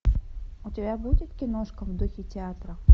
у тебя будет киношка в духе театра